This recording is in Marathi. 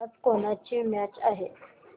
आज कोणाची मॅच आहे